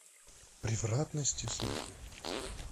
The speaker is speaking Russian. привратности судьбы